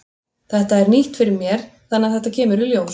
Þetta er nýtt fyrir mér þannig að þetta kemur í ljós.